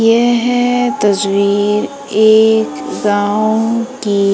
यह तस्वीर एक गांव की--